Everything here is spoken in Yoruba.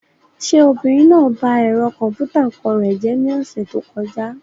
Ṣé obìnrin náà ba ẹ̀rọ kọ̀m̀pútà ọkọ rẹ̀ jẹ́ ní ọ̀sẹ̀ tó kọjá?